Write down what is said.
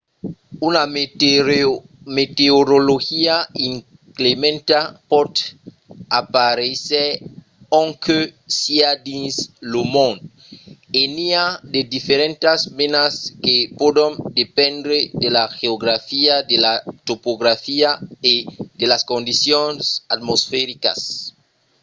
una meteorologia inclementa pòt aparéisser ont que siá dins lo mond e n'i a de diferentas menas que pòdon dependre de la geografia de la topografia e de las condicions atmosfericas